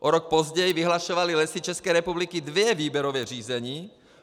O rok později vyhlašovaly Lesy České republiky dvě výběrová řízení.